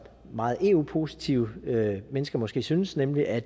meget eu positive mennesker måske synes nemlig at